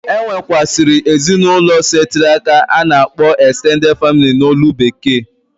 E nwekwuasiri ezinụlọ setiri aka a na akpọ extenteded family n'olu bekee.